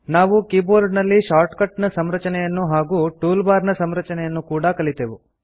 ನಾವು ಕೀಬೋರ್ಡ್ ನಲ್ಲಿ ಶಾರ್ಟ್ಕಟ್ ನ ಸಂರಚನೆಯನ್ನು ಹಾಗೂ ಟೂಲ್ ಬಾರ್ ನ ಸಂರಚನೆಯನ್ನು ಕೂಡಾ ಕಲಿತೆವು